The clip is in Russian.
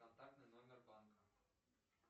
контактный номер банка